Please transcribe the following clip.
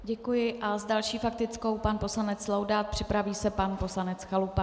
Děkuji a s další faktickou pan poslanec Laudát, připraví se pan poslanec Chalupa.